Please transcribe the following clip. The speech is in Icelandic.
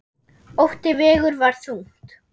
Ótti vegur þar þungt.